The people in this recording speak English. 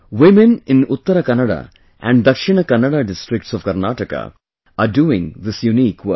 Women in Uttara Kannada and Dakshina Kannada districts of Karnataka are doing this unique work